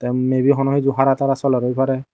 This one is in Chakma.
may be hono hesdu hara tara soler oy parey.